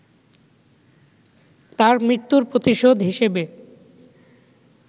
তার মৃত্যুর প্রতিশোধ হিসেবে